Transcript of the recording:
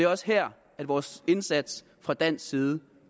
også her vores indsats fra dansk side